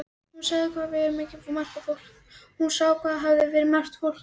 Hún sá hvað hafði verið margt fólk á heimilinu.